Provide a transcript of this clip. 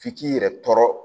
F'i k'i yɛrɛ tɔɔrɔ